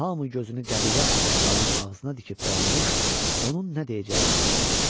Hamı gözünü qəbilə ağsaqqalının ağzına dikib dayanmış, onun nə deyəcəyini gözləyirdi.